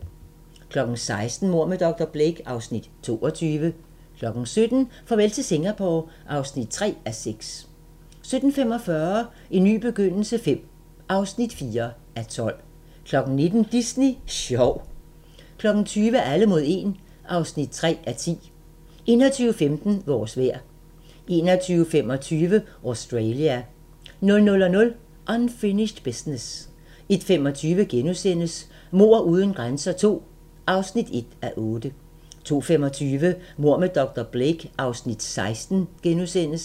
16:00: Mord med dr. Blake (Afs. 22) 17:00: Farvel til Singapore (3:6) 17:45: En ny begyndelse V (4:12) 19:00: Disney sjov 20:00: Alle mod 1 (3:10) 21:15: Vores vejr 21:25: Australia 00:00: Unfinished Business 01:25: Mord uden grænser II (1:8)* 02:25: Mord med dr. Blake (Afs. 16)*